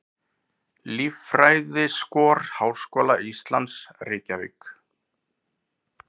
Líffræðiskor Háskóla Íslands, Reykjavík.